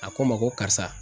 A ko n ma ko karisa